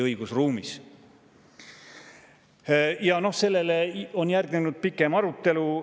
Sellele on järgnenud pikem arutelu.